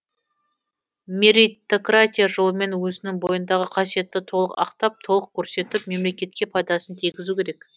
мерритократия жолымен өзінің бойындағы қасиетті толық ақтап толық көрсетіп мемлекетке пайдасын тигізу керек